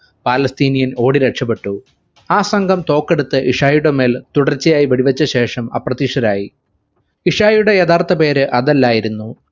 palestinian ഓടി രക്ഷപ്പെട്ടു ആ സംഗം തോക്കെടുത്തു ഇശായിയുടെ മേൽ തുടർച്ചയായി വെടിവെച്ച ശേഷം അപ്രത്യക്ഷരായി ഇഷായുടെ യഥാർത്ഥ പേര് അതല്ലായിരുന്നു